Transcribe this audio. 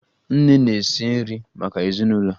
Nne na-esi nri maka ezinụlọ